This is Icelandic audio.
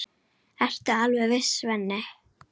Ertu alveg viss, Svenni?